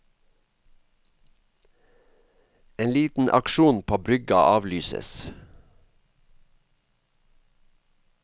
En liten aksjon på brygga avlyses.